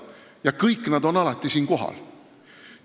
Nad kõik on alati siin kohal.